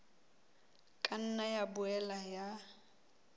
ka nna ya boela ya